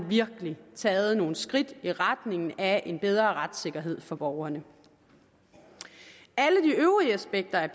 virkelig har taget nogle skridt i retningen af en bedre retssikkerhed for borgerne alle de øvrige aspekter af